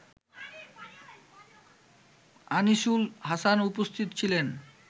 আনিসুল হাসান উপস্থিত ছিলেন